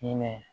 Hinɛ